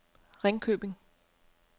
Ringkøbing